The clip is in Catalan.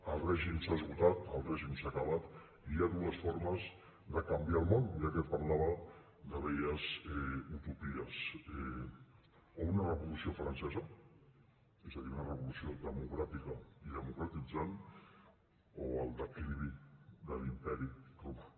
el règim s’ha esgotat el règim s’ha acabat i hi ha dues formes de canviar el món ja que parlava de velles utopies o una revolució francesa és a dir una revolució democràtica i democratitzant o el declivi de l’imperi romà